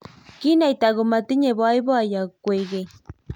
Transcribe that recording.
kinaita komatinyei boiboiyo kwekeny